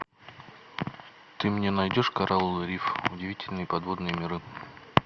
ты мне найдешь коралловый риф удивительные подводные миры